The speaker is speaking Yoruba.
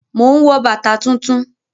Mò ń wọ bàtà tuntun